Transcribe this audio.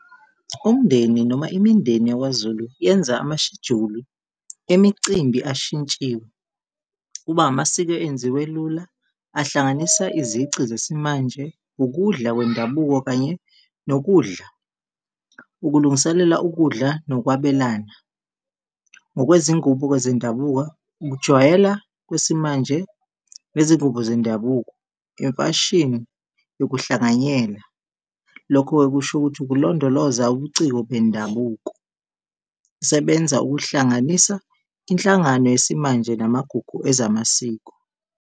Umndeni noma imindeni yakwaZulu yenza amashejuli emicimbi ashintshiwe. Kuba amasiko enziwe lula, ahlanganisa izici zesimanje, ukudla kwendabuko kanye nokudla, ukulungiselela ukudla nokwabelana. Ngokwe zingubo-ke zendabuko, ukujwayela kwesimanje nezingubo zendabuko, imfashini yokuhlanganyela, lokho-ke kusho ukuthi ukulondoloza ubuciko bendabuko kusebenza ukuhlanganisa inhlangano yesimanje namagugu ezamasiko.